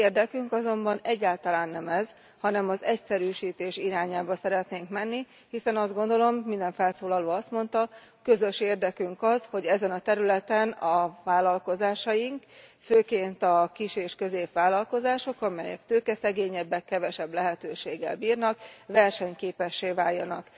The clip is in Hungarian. A mi érdekünk azonban egyáltalán nem ez, hanem az egyszerűsítés irányába szeretnénk menni, hiszen azt gondolom, minden felszólaló azt mondta, közös érdekünk az, hogy ezen a területen a vállalkozásaink, főként a kis és középvállalkozások, amelyek tőkeszegényebbek, kevesebb lehetőséggel bírnak, versenyképessé váljanak.